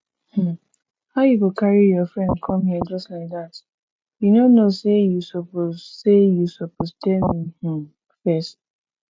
um how you go carry your friend come here just like dat you no know say you suppose say you suppose tell me um first